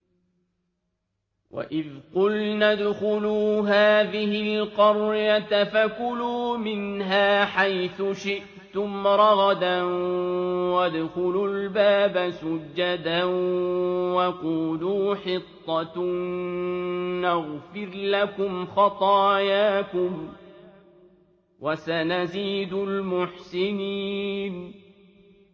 وَإِذْ قُلْنَا ادْخُلُوا هَٰذِهِ الْقَرْيَةَ فَكُلُوا مِنْهَا حَيْثُ شِئْتُمْ رَغَدًا وَادْخُلُوا الْبَابَ سُجَّدًا وَقُولُوا حِطَّةٌ نَّغْفِرْ لَكُمْ خَطَايَاكُمْ ۚ وَسَنَزِيدُ الْمُحْسِنِينَ